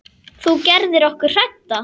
Þú gerðir okkur hrædda.